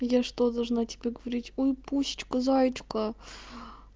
я что должна тебе говорить ой пусичка заечка